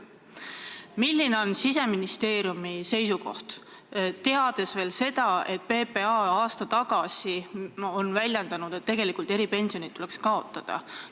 Milline on Siseministeeriumi seisukoht, teades seda, et PPA aasta tagasi väljendas arvamust, et tegelikult tuleks eripensionid kaotada?